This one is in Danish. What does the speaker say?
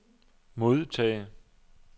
modtage